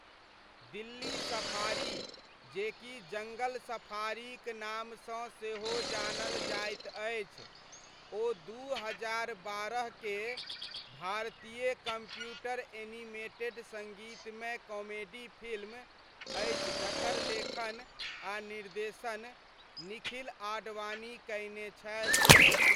Delhi safari, जे कि जङ्गल सफारीक नामसँ सेहो जानल जाइत अछि, ओ दू हजार बारह के भारतीय कम्प्युटर एनिमेटेड सङ्गीतमय कॉमेडी फिल्म अछि जकर लेखन आ निर्देशन निखिल आडवाणी कयने छथि।